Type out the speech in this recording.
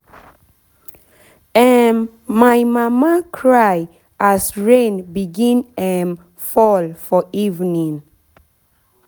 um my mama cry as rain begin um fall for evenin